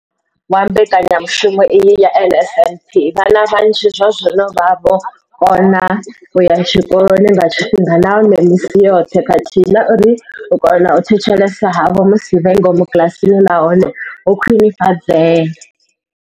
Wa mbekanyamushumo iyi ya NSNP, vhana vhanzhi zwazwino vha vho kona u ya tshikoloni nga tshifhinga nahone misi yoṱhe khathihi na uri u kona u thetshelesa havho musi vhe ngomu kiḽasini na hone ho khwinifhadzea.